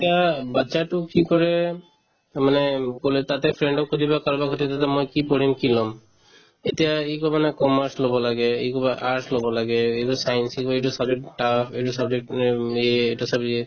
তেতিয়া batches তোক কি কৰে মানে ক'লে তাতে friend ক সুধি লোৱা কাৰোবাক সুধিলো যে মই কি পঢ়িম কি লম এতিয়া সি ক'ব না commerce ল'ব লাগে ই ক'ব arts ল'ব লাগে ই ক'ব science সি ক'ব এইটো subject tough এইটো subject মানে ইয়ে এইটো subject ইয়ে